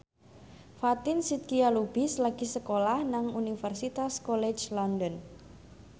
Fatin Shidqia Lubis lagi sekolah nang Universitas College London